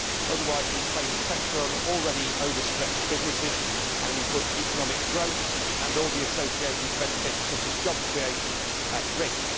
Otherwise we place pressure on already over stretched businesses and we put economic growth and all the associated benefits such as job creation at risk.